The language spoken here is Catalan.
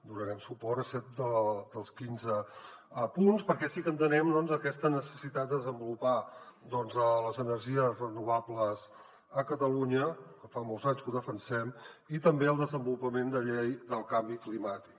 donarem suport a set dels quinze punts perquè sí que entenem aquesta necessitat de desenvolupar les energies renovables a catalunya fa molts anys que ho defensem i també el desenvolupament de llei del canvi climàtic